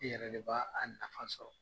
I yɛrɛ de b'a a nafa sɔrɔ.